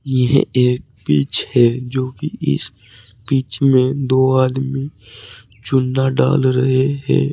यह एक पिच है जो कि इस पिच में दो आदमी चुना डाल रहे हैं।